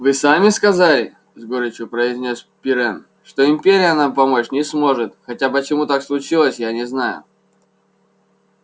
вы сами сказали с горечью произнёс пиренн что империя нам помочь не может хотя почему так случилось я не знаю